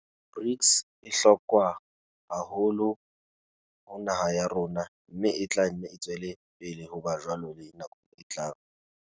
BRICS e bohlokwa haholo ho naha ya rona, mme e tla nne e tswele pele ho ba jwalo le nakong e tlang.